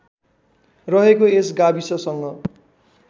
रहेको यस गाविससँग